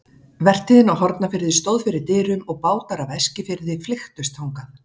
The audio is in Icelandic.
Vertíðin á Hornafirði stóð fyrir dyrum og bátar af Eskifirði flykktust þangað.